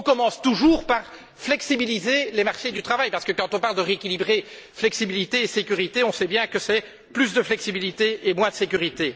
On commence toujours par flexibiliser les marchés du travail. En effet, quand on parle de rééquilibrer flexibilité et sécurité, on sait bien que c'est plus de flexibilité et moins de sécurité.